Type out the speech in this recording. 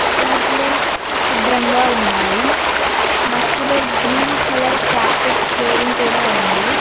సీట్లు శుభ్రంగా ఉన్నాయి బస్సులో గ్రీన్ కలర్ కార్పెట్ ఫ్లోరింగ్ కూడా ఉంది.